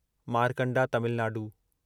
Markanda Tamil Nadu